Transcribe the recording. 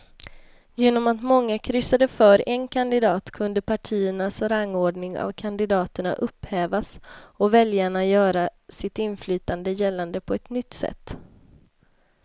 Genom att många kryssade för en kandidat kunde partiernas rangordning av kandidaterna upphävas och väljarna göra sitt inflytande gällande på ett nytt sätt.